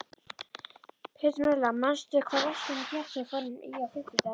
Petrúnella, manstu hvað verslunin hét sem við fórum í á fimmtudaginn?